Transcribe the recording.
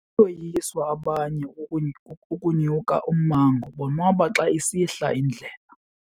Bayoyiswa abanye kukunyuka ummango bonwaba xa isihla indlela.